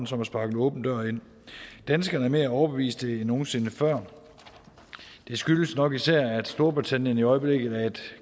som at sparke en åben dør ind danskerne er mere overbeviste end nogen sinde før det skyldes nok især at storbritannien i øjeblikket er et